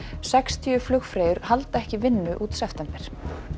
sextíu flugfreyjur halda ekki vinnu út september